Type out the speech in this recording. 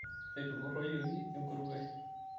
etupuroyioki enkuruwe